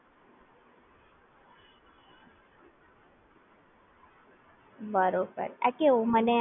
બરોબર આ કેવું મને આમ બીક લાગતી હતી ને એટલે મેં અત્યાર સુધી Net Banking ચાલુ નથી કર્યુ પણ હવે મારી જોડે બીજો કોઈ Option જ નથી, એટલે માટે મારે ચાલુ કરવુજ પડશે,